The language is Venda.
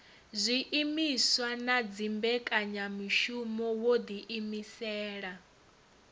zwiimiswa na dzimbekanyamushumo wo ḓiimisela